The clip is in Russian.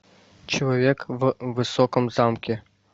человек в высоком замке